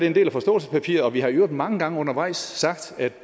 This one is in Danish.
en del af forståelsespapiret og vi har i øvrigt mange gange undervejs sagt at